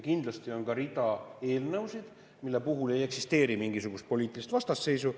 Kindlasti on ka rida eelnõusid, mille puhul ei eksisteeri mingisugust poliitilist vastasseisu.